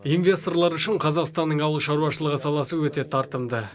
инвесторлар үшін қазақстанның ауыл шаруашылығы саласы өте тартымды